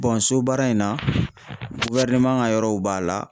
so baara in na ka yɔrɔw b'a la.